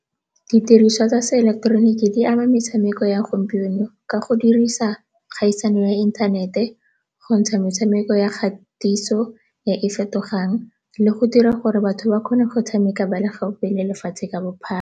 Didiriswa tsa seeleketeroniki di ama metshameko ya gompieno ka go dirisa kgaisano ya inthanete, go ntsha metshameko ya kgatiso e e fetogang le go dira gore batho ba kgone go tshameka ba le gaufi le lefatshe ka bophara.